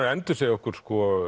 að endursegja okkur